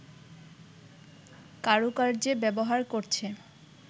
কারুকার্যে ব্যবহার করছে